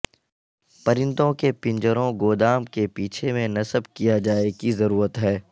پرندوں کے پنجروں گودام کے پیچھے میں نصب کیا جائے کی ضرورت ہے